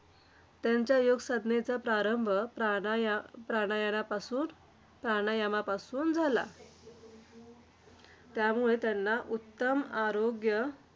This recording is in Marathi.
त्यांच्या योगसाधनेचा प्रारंभ प्राणायामा प्राणामायापासून प्राणायामापासून झाला. त्यामुळे त्यांना उत्तम आरोग्य,